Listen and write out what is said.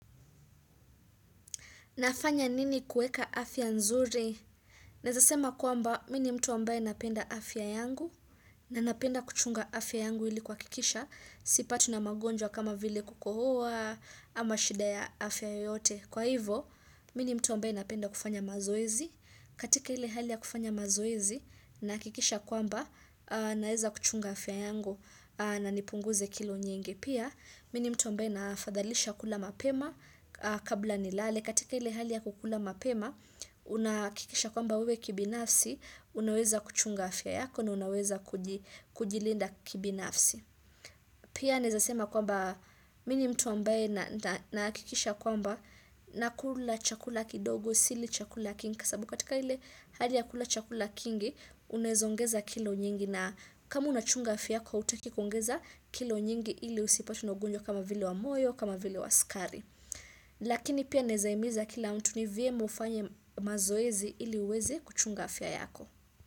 Nafanya nini kueka afya nzuri? Naeza sema kwamba, mini mtu ambaye napenda afya yangu, na napenda kuchunga afya yangu ili kuhakikisha, sipatwi na magonjwa kama vile kukohoa, ama shida ya afya yoyote. Kwa hivo, mini mtu ambaye napenda kufanya mazoezi, katika ile hali ya kufanya mazoezi, na hakikisha kwamba, naeza kuchunga afya yangu, na nipunguze kilo nyingi. Pia, mini mtu ambaye nafadhalisha kula mapema, kabla nilale katika ile hali ya kukula mapema unahakikisha kwamba wewe kibinafsi unaweza kuchunga afya yako na unaweza kujilinda kibinafsi pia naeza sema kwamba mini mtu ambaye nahakikisha kwamba nakula chakula kidogo sili chakula kingi kwa sababu katika ile hali ya kula chakula kingi unaeza ongeza kilo nyingi na kama unachunga afya kwa hutaki kuongeza kilo nyingi ili usipatwe na ugonjwa kama vile wa moyo kama vile wa skari Lakini pia naeza himiza kila mtu ni vyema ufanye mazoezi ili uwezi kuchunga afya yako.